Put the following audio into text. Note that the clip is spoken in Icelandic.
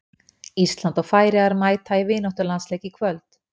Ísland og Færeyjar mæta í vináttulandsleik í kvöld.